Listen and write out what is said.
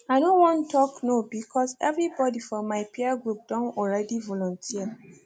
i no wan talk no because everybody for my peer group don already volunteer